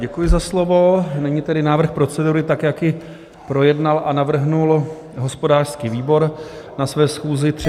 Děkuji za slovo, nyní tedy návrh procedury tak, jak ji projednal a navrhl hospodářský výbor na své schůzi 3. února.